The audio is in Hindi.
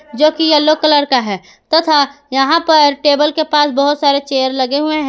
जो की येलो कलर का है तथा यहां पर टेबल के पास बहुत सारे चेयर लगे हुए हैं।